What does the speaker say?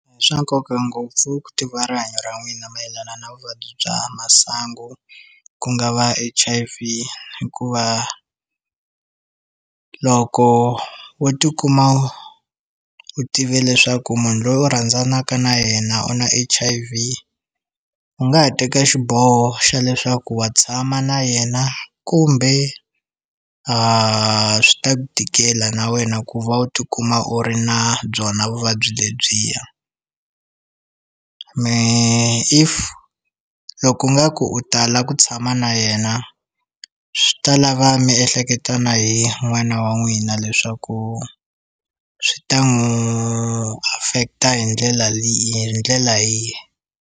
I swa nkoka ngopfu ku tiva rihanyo ra n'wina mayelana na vuvabyi bya masangu ku nga va H_I_V hikuva loko wo tikuma u tive leswaku munhu loyi u rhandzanaka na yena u na H_I_V u nga ha teka xiboho xa leswaku wa tshama na yena kumbe a swi ta ku tikela na wena ku va u tikuma u ri na byona vuvabyi lebyiya mehe if loko u nga ku u tala ku tshama na yena swi ta lava mi ehleketa na hi n'wana wa n'wina leswaku swi ta n'wu affect-a hi ndlela hi ndlela yihi.